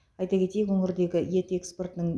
айта кетейік өңірдегі ет экспортының